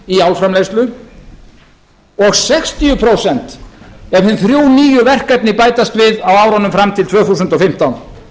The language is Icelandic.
í álframleiðslu og sextíu prósent ef hin þrjú nýju verkefni bætast við á árunum fram til tvö þúsund og fimmtán